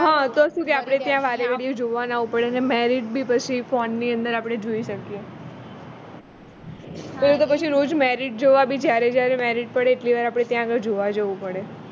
હ તો સુ કે આપણે ત્યાં વારે ધડીયે જોવા ના આવવું પડે ને marriage બી પછી ફોન ની અંદર આપણે જોઈ શકીએ પેલું તો પાછો રોજ marriage જોવા બી જયારે જયારે marriage પડે એટલી વાર આપણે ત્યાં આગળ જોવા જવું પડે